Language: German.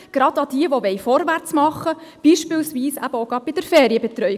Gerade an diejenigen, die vorwärtsmachen wollen, beispielsweise gerade auch bei der Ferienbetreuung;